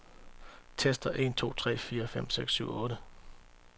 Tester en to tre fire fem seks syv otte.